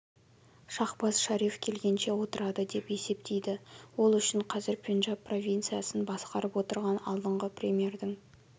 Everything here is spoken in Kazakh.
шахбаз шариф келгенше отырады деп есептейді ол үшін қазір пенджаб провинциясын басқарып отырған алдыңғы премьердің